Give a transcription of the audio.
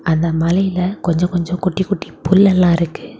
அந்த மலையில கொஞ்ச கொஞ்ச குட்டி குட்டி புல் எல்ல இருக்கு.